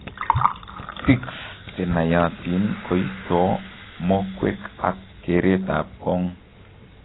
Tics chenaiyatin koistoo mokwek ak keret ab kong'